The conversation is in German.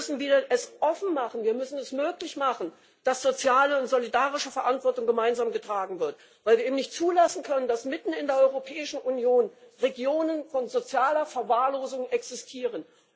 Wir müssen es offen machen, es möglich machen, dass soziale und solidarische Verantwortung gemeinsam getragen wird, weil wir eben nicht zulassen können, dass mitten in der Europäischen Union Regionen sozialer Verwahrlosung existieren.